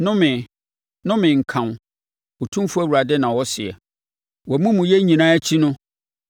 “ ‘Nnome! Nnome nka wo, Otumfoɔ Awurade na ɔseɛ. Wʼamumuyɛ nyinaa akyi no,